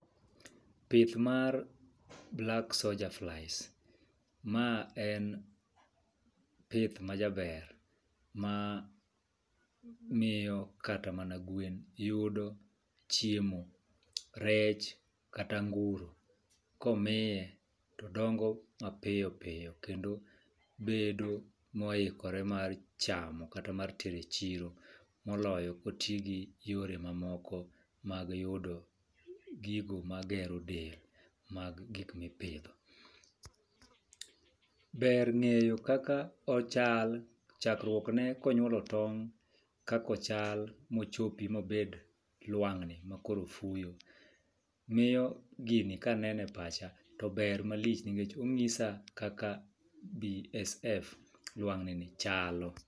Pith mar black soja flies ma en pith ma jaber ma miyo kata mana gwen yudo chiemo , rech kata anguro komiye todongo mapiyo piyo kendo bedo moikore mar chamo kata mar tero e chiro moloyo koti gi yore mamoko mag yudo gigo magero del mag gik mipidho. Ber ng'eyo kaka ochal chakruok ne konyuolo tong' kakochal mochopi mobed lwang'ni makoro fuyo miyo gini kanene pacha to ber malich nikech onyisa kaka BSF lwang' ni ni chalo.